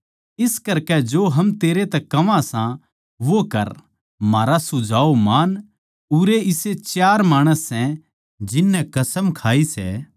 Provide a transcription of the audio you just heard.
इस करकै जो हम तेरै तै कह्वां सां वो कर म्हारा सुझाव मान उरै इसे चार माणस सै जिन नै कसम खाई सै